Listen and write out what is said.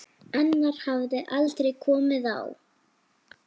Annar hafði aldrei komið á